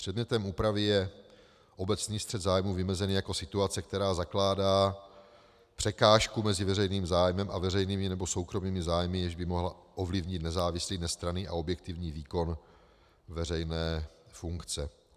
Předmětem úpravy je obecný střet zájmů vymezený jako situace, která zakládá překážku mezi veřejným zájmem a veřejnými nebo soukromými zájmy, jež by mohla ovlivnit nezávislý, nestranný a objektivní výkon veřejné funkce.